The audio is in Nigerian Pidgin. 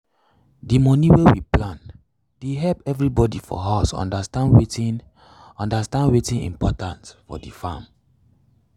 d moni wey we plan dey help everybody for house understand wetin understand wetin important for the farm.